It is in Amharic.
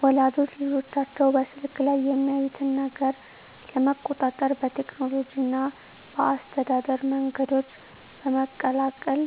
ወላጆች ልጆቻቸው በስልክ ላይ የሚያዩትን ነገር ለመቆጣጠር በቴክኖሎጂ እና በአስተዳደር መንገዶች በመቀላቀል